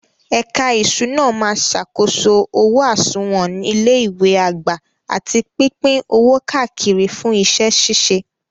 Ẹ̀ka ìṣúná máa ṣàkóso owó àsùnwọ̀n ilé ìwé àgbà àti pípín owó káàkiri fún iṣẹ́ ṣíṣe.